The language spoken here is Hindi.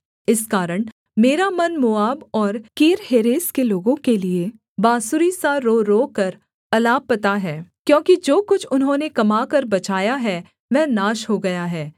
इस कारण मेरा मन मोआब और कीरहेरेस के लोगों के लिये बाँसुरी सा रो रोकर अलापता है क्योंकि जो कुछ उन्होंने कमाकर बचाया है वह नाश हो गया है